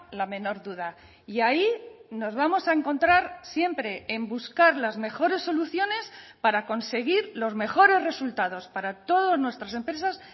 la menor duda y ahí nos vamos a encontrar siempre en buscar las mejores soluciones para conseguir los mejores resultados para todas nuestras empresas